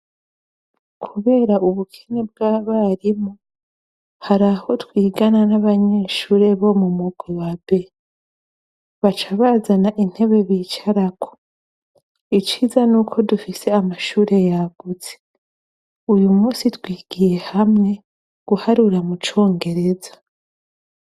Kubera ubukini bw'abarimu hari aho twigana n'abanyeshure bo mu mugubabe baca bazana intebe bicarako iciza n' uko dufise amashure yaguze uyu musi twigiye hamwe guharura mu congereza.